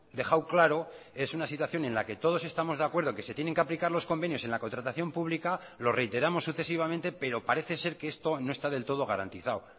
dejado claro es una situación en la que todos estamos de acuerdo que se tienen que aplicar los convenios en la contratación pública lo reiteramos sucesivamente pero parece ser que esto no está del todo garantizado